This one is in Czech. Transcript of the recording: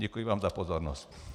Děkuji vám za pozornost.